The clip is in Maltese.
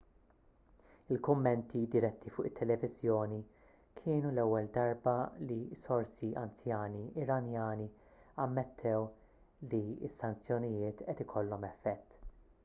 il-kummenti diretti fuq it-televiżjoni kienu l-ewwel darba li sorsi anzjani iranjani ammettew li s-sanzjonijiet qed ikollhom effett